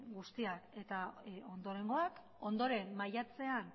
guztia eta ondorengoak ondoren maiatzean